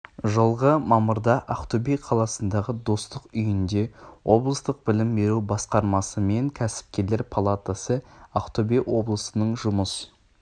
жылғы мамырда ақтөбе қаласындағы достық үйінде облыстық білім беру басқармасы мен кәсіпкерлер палатасы ақтөбе облысының жұмыс